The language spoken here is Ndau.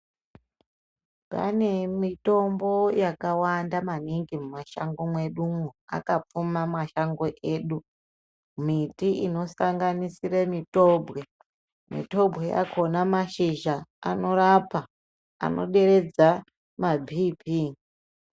Pane mitombo yakawanda maningi mumashango mwedumwo, akapfuma mashango edu miti inosanganisire mitobwe ,mitobwe yakona mashizha anorapa, anoderedza maBp